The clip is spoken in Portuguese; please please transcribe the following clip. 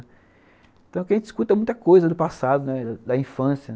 Então a gente escuta muita coisa do passado, né, da infância.